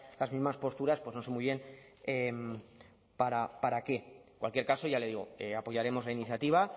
las mismas posturas pues no sé muy bien para qué en cualquier caso ya le digo apoyaremos la iniciativa